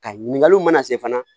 Ka ɲininkaliw mana se fana